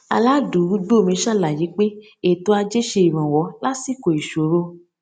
aládùúgbò mi ṣàlàyé pé ètò ajé ṣe iranwọ lásìkò ìṣòro